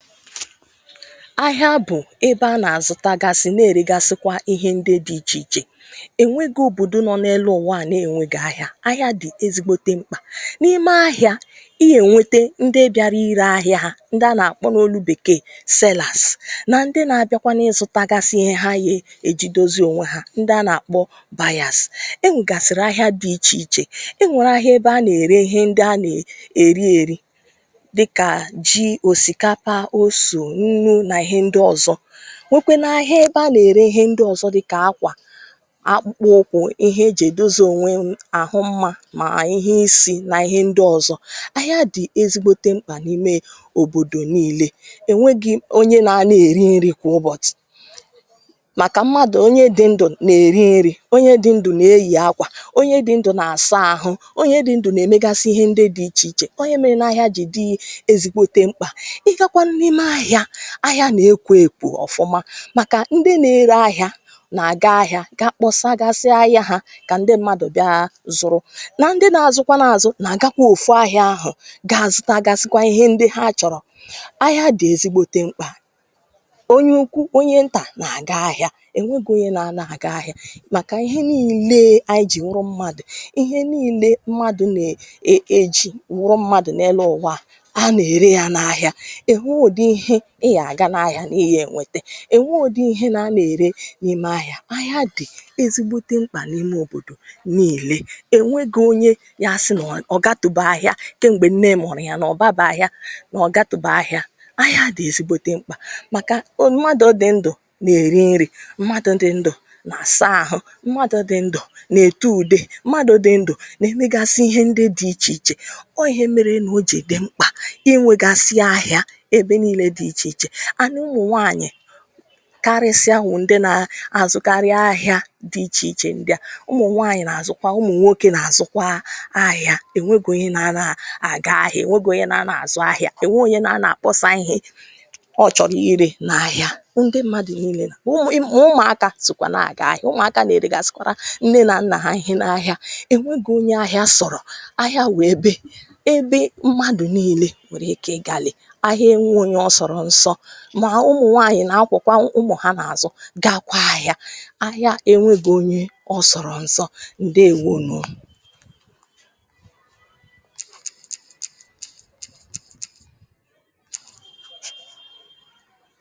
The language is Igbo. "Ahịa bụ̀ ebe a nà-àzụta gasị̀ na-èregasịkwa ihe ndị dị̇ ichè ichè ,ènwego òbòdò nọ n’elu ụ̀wa à nà-ènwèga ahịa ,ahịa dị̀ ezigbote mkpà. N’ime ahịa i ya ènwete ndị bịara ire ahịa hȧ, ndị a nà-àkpọ n’olu bèkeè sellers nà ndị na-abịakwanụ ịzụtagasị iye ha ye èji dozi ònwe ha, ndịa anà-àkpọ buyers. Enwègasịrị ahịa dị ichè ichè, enwèrè ahịa ebe a nà-ère ihe ndịa anà-èri èri dịka, ji, osikapa, oso, nnu, nà ihe ndị ọ̀zọ, nwekwe nà ahịa ebe anà-ère ihe ndị ọ̀zọ dịka akwà ,akpụkpọ ụkwụ ,ihe e jì èduzì ònwe ahụ mma, mà ihe isi̇ nà ihe ndị ọ̀zọ. Ahịa dị ezigbote mkpà n’ime òbòdò nii̇lė ,enwegị̇ onye na ana-èri nri̇ kwa ụbọ̀chị̀, màkà mmadụ̀ onye dị ndụ̀ nà-èri nri̇ ,onye dị ndụ̀ nà-eyì akwà ,onye dị ndụ̀ nà-àsa ahụ, onye dị ndụ̀ nà-èmegasị ihe ndị dị̇ ichè ichè ,onye mee nà ahịa jì dị ezigbote mkpà. Ị gakwanụ n'ime ahịa, ahịa na-ekwo ekwo ọ̀fụma, màkà ndị na-ere ahịa nà-àga ahịa ga kpọsa gasịa ahịa ha kà ndị mmadụ̀ bịa zụrụ, na ndị na-azụkwa n’àzụ nà-àgakwa òfu ahịa ahụ̀ ga-azụtagasịkwa ihe ndị ha chọ̀rọ̀ ,ahịa dị̀ ezigbote mkpà. Onye ukwuu ,onye ntà nà-àga ahịa, ènwegu onye na-ana àga ahịa, màkà ihe nii̇le aị jì wụrụ mmadụ̀, ihe nii̇le mmadụ̇ nà-eji wụrụ mmadụ̀ n’elụ ụwa a anà-ère ya n’ahịa, enweghị udị ihe ị yà-àga n’ahịa n’iye ènwete ,ènwe ụdị ihe ana-ère n’ime ahịa ,ahịa dị ezigbote mkpà n’ime òbòdò nii̇le, ènwege onye ya asị nà ọ̀ gatubè ahịȧ kèm̀gbè nne mọ̀rọ̀ ya nà ọ̀ baba ahịa nà ọ̀ gatubè ahịa ,ahịa a dị̀ ezigbote mkpà màkà ọ mmadụ̀ dị̀ ndụ̀ nà-èri nri, mmadụ̇ dị̀ ndụ̀ nà saa àhụ, mmadụ̀ dị̀ ndụ̀ nà-ètu ùde, mmadụ dị ndụ̀ nà-èmegasi ihe ndị dị ichè ichè, ọ ihe merenụ o jidi mkpà inwegasị ahịa ebe niile dị icheiche, anụ ụmụnwaanyị karịsịa bụ ndị na-azụkarị ahịa dị ichè ichè ndị à, ụmụ̀nwaànyị̀ na-azụkwa ụmụ̀nwaokė na-azụkwa ahịȧ, ènwegi onye na-ana àgà ahịa ènwegì onye na-ana àzụ ahịȧ, ènwegì onye na-ana àkpọsa ihe ọ chọ̀rọ̀ irė na ahịa, ndị mmadụ niile sọkwa ma ụmụ̀aaka sokwa na aga ahịa, ụmụ̀aka na-eregàsikwara nne na nnà ha ihe n'ahịa, enwegị onye ahịa sọ̀rọ̀. Ahịa wèe ebe, ebe mmadụ̀ nii̇le wèrè ike igalị̇, ahịa enweghị onye ọsọrọ nsọ mà ụmụ̀nwaànyị̀ nà akwọ̀kwà ụmụ̀ ha n’àzụ gakwȧ ahịa, ahịa enweghi̇ onye ọ sọ̀rọ̀ nsọ. Ndeèwo nụ̀